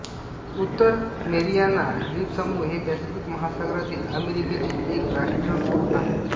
उत्तर मेरियाना द्वीपसमूह हे पॅसिफिक महासागरातील अमेरिकेचे एक राष्ट्रकुल आहे